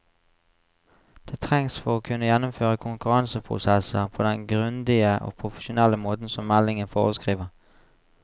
Det trengs for å kunne gjennomføre konkurranseprosesser på den grundige og profesjonelle måten som meldingen foreskriver.